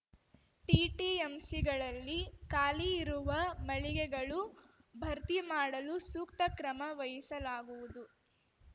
ಟಿಟಿಎಂಸಿಗಳಲ್ಲಿ ಖಾಲಿ ಇರುವ ಮಳಿಗೆಗಳು ಭರ್ತಿ ಮಾಡಲು ಸೂಕ್ತ ಕ್ರಮ ವಹಿಸಲಾಗುವುದು